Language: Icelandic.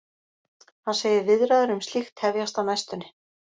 Hann segir viðræður um slíkt hefjast á næstunni.